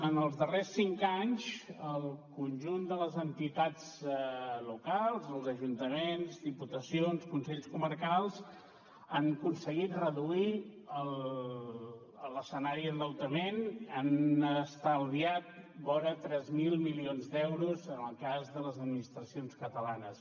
en els darrers cinc anys el conjunt de les entitats locals els ajuntaments diputacions consells comarcals han aconseguit reduir l’escenari d’endeutament han estalviat vora tres mil milions d’euros en el cas de les administracions catalanes